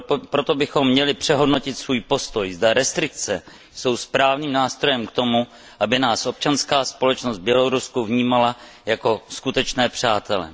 Proto bychom měli přehodnotit svůj postoj, zda restrikce jsou správným nástrojem k tomu, aby nás občanská společnost v Bělorusku vnímala jako skutečné přátele.